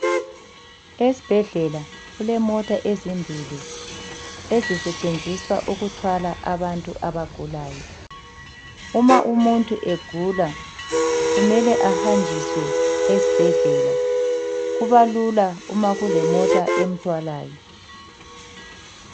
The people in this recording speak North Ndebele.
Esibhedlela kulemota ezimbili ezisetshenziswa ukuthwala abantu abagulayo. Uma umuntu egula kumele ahanjiswe esibhedlela. Kubalula uma kulemota emthwalayo.